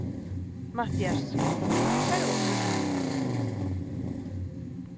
MATTHÍAS: Segðu okkur.